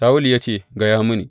Shawulu ya ce, Gaya mini.